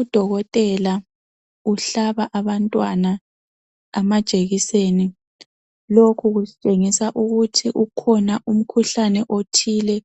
Udokotela uhlaba abantwana amajekiseni. Lokhu kusitshengisa ukuthi ukhona umkhuhlane othile